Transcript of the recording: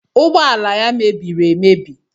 Ụgbọala ya mebiri emebi.